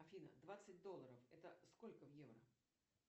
афина двадцать долларов это сколько в евро